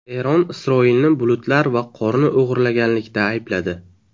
Eron Isroilni bulutlar va qorni o‘g‘irlaganlikda aybladi.